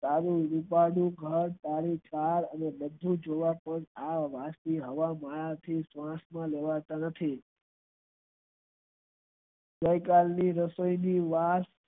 તારું સાલ અને બધું જ જોવા હવા માંથી હવાય જહાજ થી ગઈ કાલ ની રસોઈ ની વાત